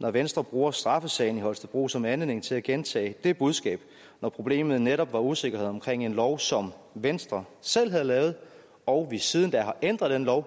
når venstre bruger straffesagen i holstebro som anledning til at gentage det budskab når problemet netop var usikkerhed omkring en lov som venstre selv havde lavet og vi siden da har ændret den lov